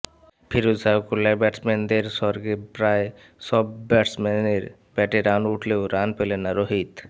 ফিরোজ শাহ কোটলায় ব্যাটসম্যানদের স্বর্গে প্রায় সব ব্যাটসম্যানের ব্যাটে রান উঠলেও রান পেলেন না রোহিত